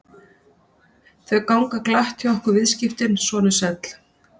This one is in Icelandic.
Þau ganga glatt hjá okkur viðskiptin, sonur sæll.